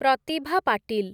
Pratibha Patil